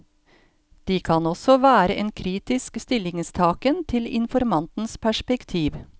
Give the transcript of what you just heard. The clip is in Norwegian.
De kan også være en kritisk stillingstaken til informantens perspektiv.